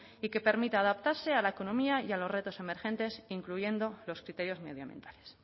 y que permita adaptarse a la economía y a los retos emergentes incluyendo los criterios medio ambientales